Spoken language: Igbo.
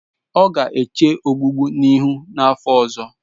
Ọ ga-eche ogbugbu ihu n'afọ ọzọ.